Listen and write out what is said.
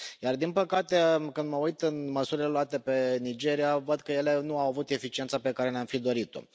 Iar din păcate, când mă uit la măsurile luate pentru Nigeria, văd că ele nu au avut eficiență pe care ne am fi dorit o.